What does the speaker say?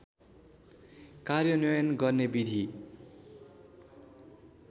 कार्यान्वयन गर्ने विधि